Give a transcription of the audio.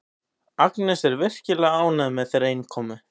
Agnes er virkilega ánægð með þeirra innkomu.